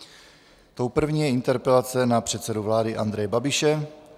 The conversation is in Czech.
Tou první je interpelace na předsedu vlády Andreje Babiše.